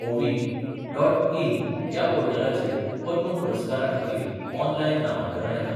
ओवी dot in ह्या पोर्टलाचेर पद्म पुरस्कारा खातीर ऑन लायन नामांकना येतात.